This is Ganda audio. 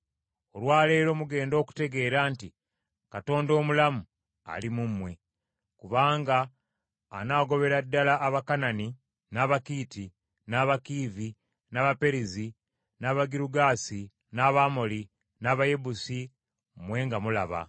Olwa leero mugenda okutegeera nti Katonda omulamu ali mu mmwe, kubanga anaagobera ddala Abakanani, n’Abakiiti, n’Abakiivi, n’Abaperezi, n’Abagirugaasi, n’Abamoli, n’Abayebusi mmwe nga mulaba.